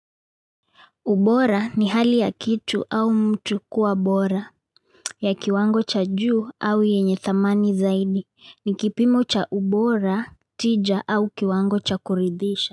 Ubora ni hali ya kitu au mtu kuwa bora, ya kiwango cha juu au yenye thamani zaidi, ni kipimo cha ubora, tija au kiwango cha kuridhisha.